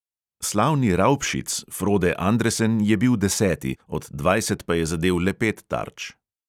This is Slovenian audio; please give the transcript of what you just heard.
Slavni "raubšic" frode andresen je bil deseti, od dvajset pa je zadel le pet tarč.